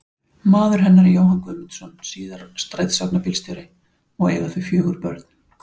Maður hennar er Jóhann Guðmundsson, síðar strætisvagnabílstjóri, og eiga þau fjögur börn.